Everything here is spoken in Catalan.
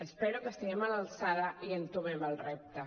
espero que estiguem a l’alçada i entomem el repte